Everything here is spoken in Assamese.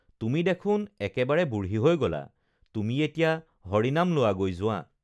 তুমি দেখোন একেবাৰে বুঢ়ী হৈ গলা তুমি এতিয়া হৰি নাম লোৱাগৈ যোৱা